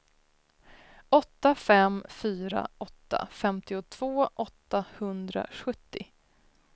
åtta fem fyra åtta femtiotvå åttahundrasjuttio